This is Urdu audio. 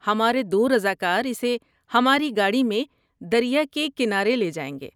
ہمارے دو رضاکار اسے ہماری گاڑی میں دریا کے کنارے لے جائیں گے۔